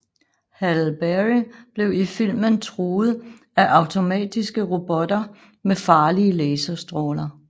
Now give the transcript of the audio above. Halle Berry blev i filmen truet af automatiske robotter med farlige laserstråler